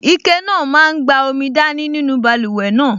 Ike náà máa n gba omi dání nínú báluwẹ̀ náà